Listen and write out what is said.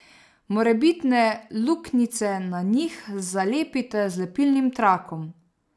Morebitne luknjice na njih zalepite z lepilnim trakom.